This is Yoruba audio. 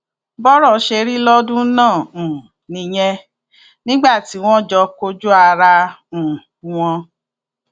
bọrọ ṣe rí lọdún náà um nìyẹn nígbà tí wọn jọ kojú ara um wọn